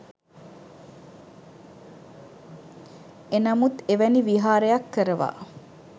එනමුත් එවැනි විහාරයක් කරවා